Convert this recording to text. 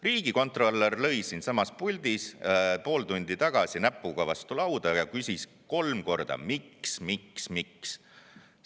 Riigikontrolör lõi siinsamas puldis pool tundi tagasi näpuga vastu lauda ja küsis kolm korda: miks, miks, miks?